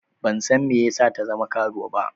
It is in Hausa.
Ban san me yasa ta zama karuwa ba.